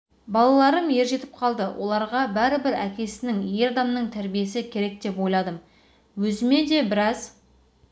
балаларым ер жетіп қалды оларға бәрібір әкесінің ер адамның тәрбиесі керек деп ойладым өзіме де біраз